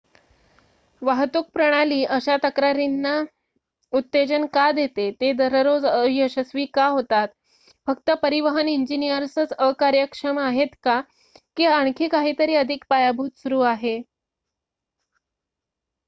वाहतूक प्रणाली अशा तक्रारींना उत्तेजन का देते ते दररोज अयशस्वी का होतात फक्त परिवहन इंजिनिअर्सच अकार्यक्षम आहेत का की आखणी काहीतरी अधिक पायभूत सुरू आहे